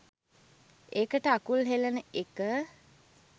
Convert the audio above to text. ඒකට අකුල් හෙලන එක.